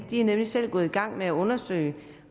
de er nemlig selv gået i gang med at undersøge